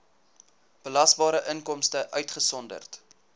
belasbare inkomste uitgesonderd